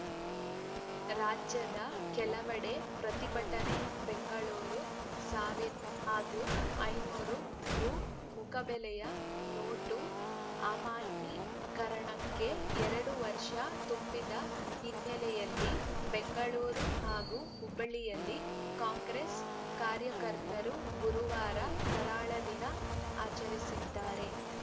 ರಾಜ್ಯದ ಕೆಲವೆಡೆ ಪ್ರತಿಭಟನೆ ಬೆಂಗಳೂರು ಸಾವಿರ ಹಾಗೂ ಐನೂರು ರು ಮುಖಬೆಲೆಯ ನೋಟು ಅಮಾನ್ಯೀಕರಣಕ್ಕೆ ಎರಡು ವರ್ಷ ತುಂಬಿದ ಹಿನ್ನೆಲೆಯಲ್ಲಿ ಬೆಂಗಳೂರು ಹಾಗೂ ಹುಬ್ಬಳ್ಳಿಯಲ್ಲಿ ಕಾಂಗ್ರೆಸ್‌ ಕಾರ್ಯಕರ್ತರು ಗುರುವಾರ ಕರಾಳ ದಿನ ಆಚರಿಸಿದರೆ